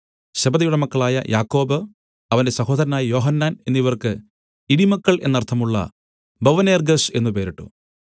സെബെദിയുടെ മക്കളായ യാക്കോബ് അവന്റെ സഹോദരനായ യോഹന്നാൻ എന്നിവർക്ക് ഇടിമക്കൾ എന്നർത്ഥമുള്ള ബൊവനേർഗ്ഗസ് എന്നു പേരിട്ടു